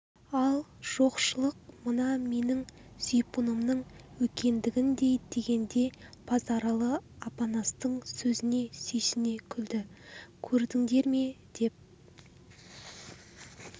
ал жоқшылық мынау менің зипунымның үлкендігіндей дегенде базаралы апанастың сөзіне сүйсіне күлді көрдіндер ме не деп